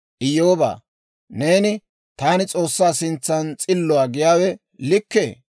«Iyyoobaa, neeni, ‹Taani S'oossaa sintsan s'illuwaa› giyaawe likkee?